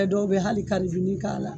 Ɛ dɔw be hali kalribini k'a la